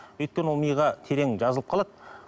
өйткені ол миға терең жазылып қалады